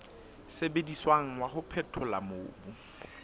sebediswang wa ho phethola mobu